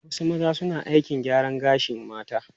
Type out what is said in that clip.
Wasu maza suna aikin gyaran gashin mata.